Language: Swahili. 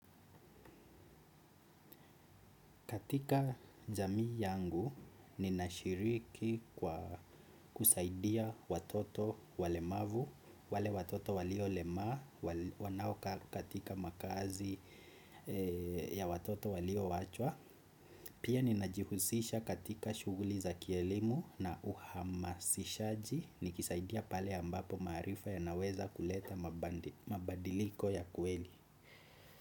Katika jamii yangu ninashiriki kwa kusaidia watoto walemavu wale watoto walio lemaa wanao kaa katika makazi ya watoto walio wachwa. Pia ninajihusisha katika shughuli za kielimu na uhamasishaji, nikisaidia pale ambapo maarifa yanaweza kuleta mabadiliko ya kweli.